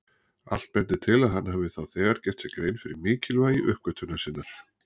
Allt bendir til að hann hafi þá þegar gert sér grein fyrir mikilvægi uppgötvunar sinnar.